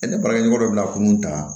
ne baarakɛɲɔgɔn dɔ bɛ na kunun ta